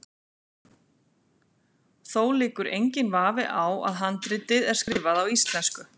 Þó liggur enginn vafi á að handritið er skrifað á íslensku.